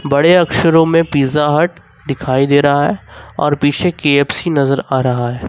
बड़े अक्षरों में पिज्जा हट दिखाई दे रहा है और पीछे के_एफ_सी नजर आ रहा है।